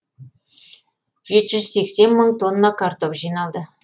жеті жүз сексен мың тонна картоп жиналды